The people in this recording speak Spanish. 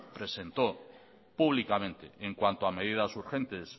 presentó públicamente en cuanto a medidas urgentes